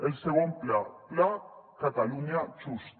el segon pla pla catalunya justa